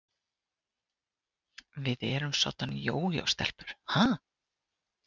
Við erum soddan jójó-stelpur, ha?